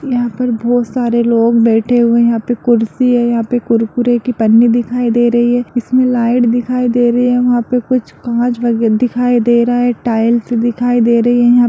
यहाँ पर बहुत सारे लोग बैठे हुए हैं यहाँ पे कुर्सी है यहाँ पे कुरकुरे की पन्नी दिखाई दे रही है इसमें लाइट दिखाई दे रही है वहाँ पे कुछ कांच वगैरह दिखाई दे रहा है टाइल्स दिखाई दे रही है। यहाँ पे --